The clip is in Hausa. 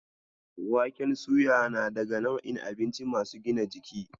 Waken suya na daga nau'in abinci masu gina jiki.